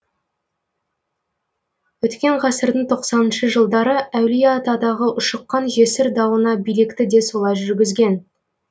өткен ғасырдың тоқсаныншы жылдары әулиеатадағы ушыққан жесір дауына билікті де солай жүргізген